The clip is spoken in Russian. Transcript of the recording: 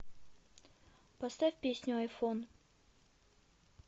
поставь песню айфон